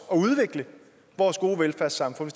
og udvikle vores gode velfærdssamfund